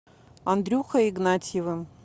андрюхой игнатьевым